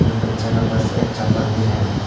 उधर बच्चा का पास एक चप्पल भी है।